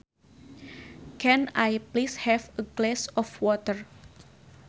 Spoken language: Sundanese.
Can I please have a glass of water